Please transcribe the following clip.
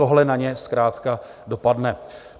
Tohle na ně zkrátka dopadne.